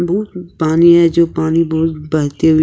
पानी है जो पानी ब बहते हुए--